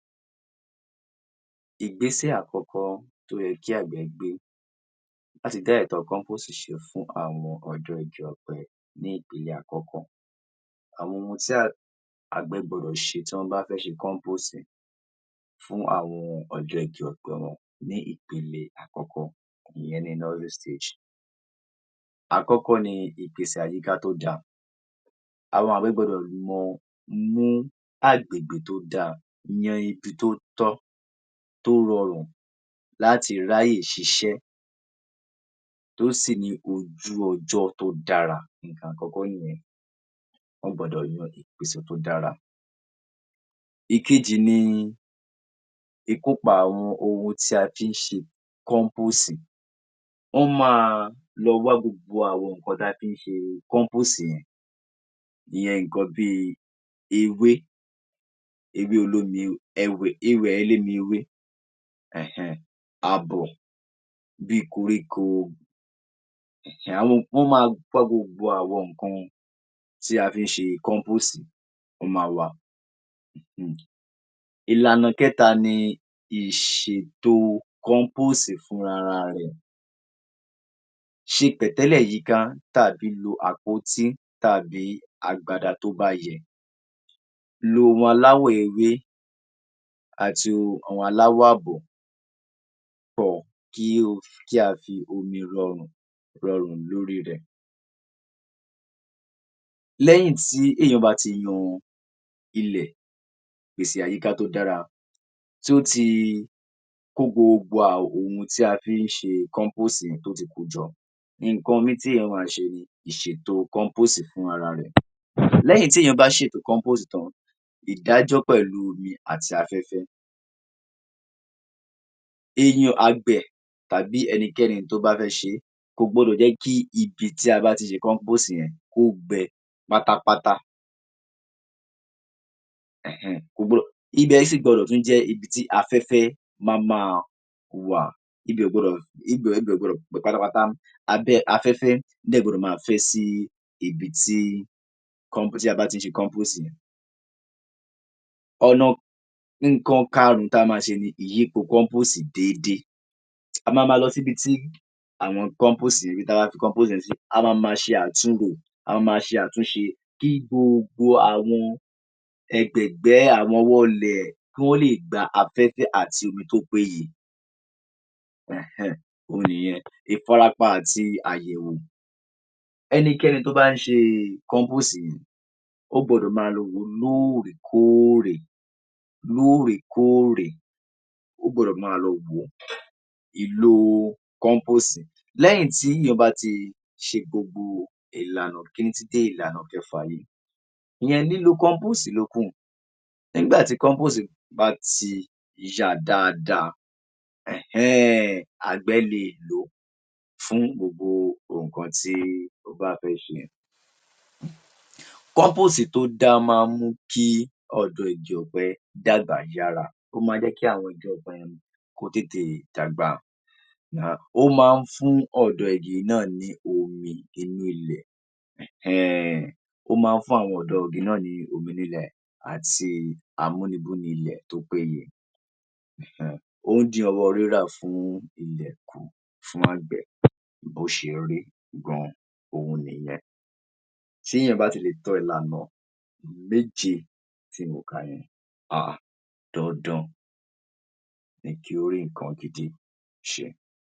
Ìgbésẹ̀ àkọ́kọ́ tó yẹ kí àgbẹ̀ gbé láti dá ẹ̀kọ́ epo síṣe fún àwọn àwùjọ ọ̀pẹ ni àkọ́kọ́. Àwọn ohun tí àgbẹ̀ gbọdọ̀ ṣe tíwọ́n bá fẹ́ kan tó ṣè é fún àwọn àjọ ọ̀pẹ wọn ni ìpele àkọ́kọ́ ni ìyẹn ni knowledge stage. Àkọ́kọ́ ni ìpèsè àyíká tó dáa. Àwọn àgbẹ̀ gbọdọ̀ mọ̀, mú agbègbè tó dáa, yan ibi tó tọ́, tó rọrùn láti ráyè ṣiṣẹ́ tó sì ní ojú ọjọ́ tó dára nǹkan àkọ́kọ́ nìyẹn. Wọ́n gbọdọ̀ yàn ìpèsè tó dára. Ekejì ni ìkópọ̀ ohun tí a fi ń ṣe compose yìí ìyẹn nǹkan bíi ewé olómi, ẹwẹ̀ olómi ewé hẹ̀-hẹ́-hẹ̀, àwọ̀ bíi koríko, ìjáhùn, wọ́n pa gbogbo àwọn nǹkan tí a fi ń ṣe compose wọ́n á wá a. Ìlànà kẹta ni ìṣètò compose fúnra ara rẹ̀. Ṣẹ̀pẹ́ lè yíka ti a fi bo àpótí tàbí agbada tó bá yẹ. Ró wọn láwọ̀ ewé àti àwọn aláwọ̀ ààbọ̀ pọ̀ kí o fi ja omi rọrùn lórí rẹ̀. Lẹ́yìn tí èèyàn bá ti lu ilẹ̀, pèsè àyíká tó dára tó ti kó gbogbo ohun tí a fi ń ṣe compose yìí tó ti kó o jọ. Nǹkan mìíì tí èèyàn máa ṣe ni ìẹètò compose fún ra ẹ̀. Lẹ́yìn tí èèyàn bá ṣe ìpèsè compose tán ìdájọ́ pẹ̀lú omi àti afẹ́fẹ́ èèyàn àgbẹ̀ tàbí ẹnikẹ́ni tó bá fẹ́ ṣe é ó gbọdọ̀ ṣe, gbọdọ̀ jẹ́ kí ibi tí a bá ti ṣe compose yẹn kó gbẹ pátápátá. Hẹ̀-ẹn-ẹ̀n ibẹ̀ gbọdọ̀, tún jẹ́ ibi tí afẹ́fẹ́ yóò máa fẹ́ sí ibi tí ibi tí a bá ti ń ṣe compose yẹn. Ọ̀nà, nǹkan karùn-ún ti a máa ṣe ni ọ̀nà ìyípo compose déédé. A máa ma lọ sí ibi tí a ṣe compose yẹn dé a máa máa ṣe àtúnrò, a máa máa ṣe àtúnṣe wo ẹ̀gbẹ̀gbẹ̀, àwọn wall ẹ̀ kí wọń lè gba afẹ́fẹ́ àti omi tó péye. Hẹ̀n-ẹ́n-ẹ̀n ohun nìyẹn. Ìfarapa àti àyẹ̀wò Ẹnikẹ́ni tó bá ń ṣe compose yìí ó gbọ́dọ̀ máa lọ wò o lóòrèkóòrè, lóòrèkóòre, ó gbọdọ̀ máa lọ wo ó. Ìlò compose – Lẹ́yìn tí èèyàn bá ti ṣe gbogbo ìlànà kínní títí dé ìlànà kẹfà yìí. Iyẹn lílo compose ló kàn. Nígbà tí compose bá ti ya dáadáa hẹ̀n-ẹ́n-ẹ̀n, àgbẹ̀ le è lò ó fún gbogbo nǹkan tó bá fẹ́ ṣe. Compose tó dára máa ń jẹ́ kí ọ̀dọ́ igi ọ̀pẹ dàgbà dàra. O máa ń jẹ́ kí àwọn igi ọ̀pẹ tètè dàgbà. Now, ó máa ń fún ọ̀dọ́ igi náà ní omi inú ilẹ̀. Hẹ̀n-ẹ́n-ẹ̀n ó máa ń fún àwọn ọ̀dọ́ igi náa ní omi délẹ̀ àti àmójútó ilẹ̀ tó péye. Hùn-ún-ùn, ó ń dín ọwọ́ rírọ kù fún àgbẹ̀ bó ṣe rí hùn-ún-ùn, òhun nìyẹn. Tí èèyàn bá ti mọ̀ kan yẹn, hà-á-à dandan ni kí ó rí nǹkan gidi ṣe.